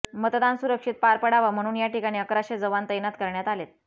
मतदान सुरक्षित पार पडावं म्हणून या ठिकाणी अकराशे जवान तैनात करण्यात आलेत